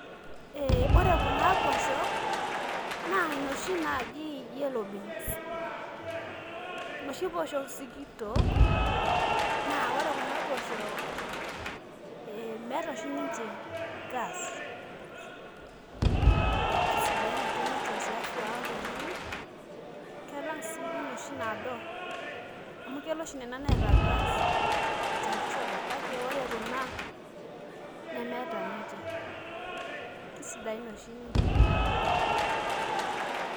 Eh ore kuna poosho, naa inoshi naji yellow beans. Noshi poosho sikitok, naa ore kuna pooshok, meeta oshi ninche gas. Kisidai ake ninche te afya oltung'ani, kelang' si inoshi nado. Amu kelo oshi nena neeta gas tenkoshoke. Kake ore kuna, nemeeta ninche. Kisidain oshi ninche oleng'.